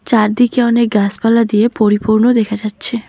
চারদিকে অনেক গাসপালা দিয়ে পরিপূর্ণ দেখা যাচ্ছে।